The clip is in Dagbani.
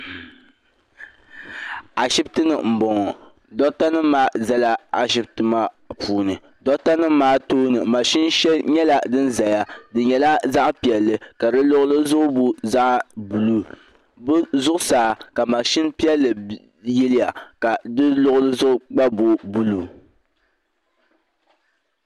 Ashibiti ni m bɔŋɔ docta nim maa zala ashibiti maa puuni docta nim maa tooni machin shɛli nyɛla din zaya di nyɛla zaɣi piɛlli ka di luɣuli zuɣu booi zaɣi buluu bɛ zuɣu saa ka machin piɛlli yiliya ka di luɣuli zuɣu gba booi buluu.